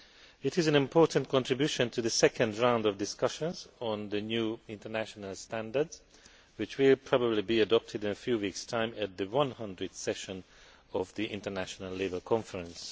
It is an important contribution to the second round of discussions on the new international standards which will probably be adopted in a few weeks' time at the 100th session of the International Labour conference.